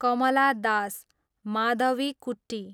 Kamala Das, Madhavikutty